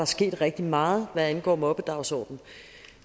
sket rigtig meget hvad angår mobbedagsordenen